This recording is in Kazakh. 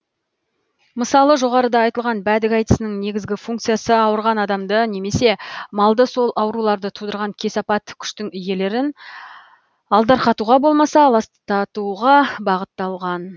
мысалы жоғарыда айтылған бәдік айтысының негізгі функциясы ауырған адамды немесе малды сол ауруларды тудырған кесапат күштің иелерін алдарқатуға болмаса аластатуға бағытталған